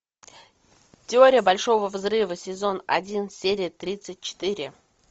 теория большого взрыва сезон один серия тридцать четыре